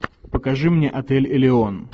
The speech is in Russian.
покажи мне отель элеон